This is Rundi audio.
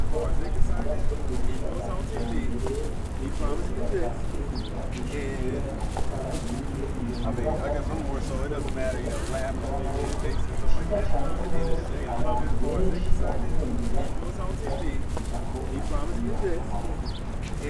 Inyubakwa yubatswe ku buhinga bwa kijambere ,igeretse gatatu ,yubakishije amatafar'ahiye ,iyo nyubakwa ikab'ifise ikibuga c'umupira w'amaboko ciza cane rwose abantu benshi bahurumbira kuza kugikinirako uwo mupira w'amaboko.